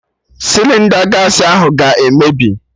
Sịlịnda gaasị ahụ ga-emebi